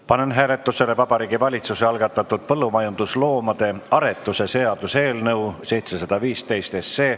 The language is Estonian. Panen hääletusele Vabariigi Valitsuse algatatud põllumajandusloomade aretuse seaduse eelnõu 715.